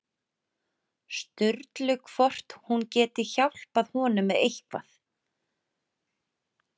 Sturlu hvort hún geti hjálpað honum með eitthvað.